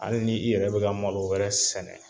Hali ni i yɛrɛ be ka malo wɛrɛ sɛnɛ